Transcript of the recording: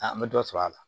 A an bɛ dɔ sɔrɔ a la